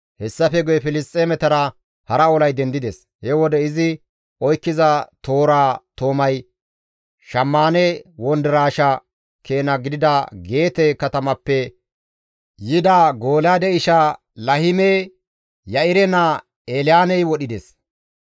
Hessafe guye Filisxeemetara hara olay dendides; he wode izi oykkiza tooraa toomay shammaane wondiraashe keena gidida Geete katamappe yida Golyaade isha Lahiime Ya7ire naa Elyaaney wodhides.